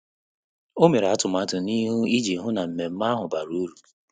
Ọ́ mèrè átụ́màtụ́ n’íhú iji hụ́ na mmemme ahụ bàrà uru.